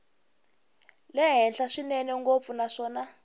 le henhla swinene ngopfu naswona